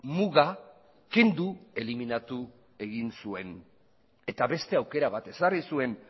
muga kendu eliminatu egin zuen eta beste aukera bat ezarri zuen